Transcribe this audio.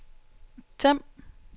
Them